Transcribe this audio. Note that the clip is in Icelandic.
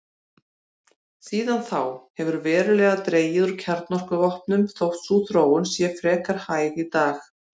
Síðan þá hefur verulega dregið úr kjarnorkuvopnum þótt sú þróun sé frekar hæg í dag.